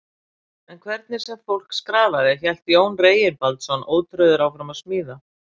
En hvernig sem fólk skrafaði, hélt Jón Reginbaldsson ótrauður áfram að smíða.